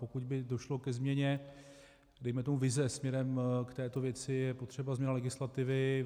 Pokud by došlo ke změně, dejme tomu vize směrem k této věci, je potřeba změna legislativy.